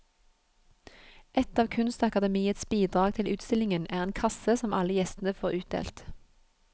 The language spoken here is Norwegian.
Et av kunstakademiets bidrag til utstillingen er en kasse som alle gjestene får utdelt.